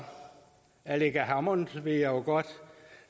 aleqa hammond vil jeg godt